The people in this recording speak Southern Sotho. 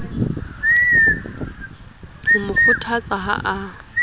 ho mo kgothatsa ha a